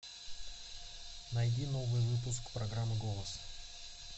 найди новый выпуск программы голос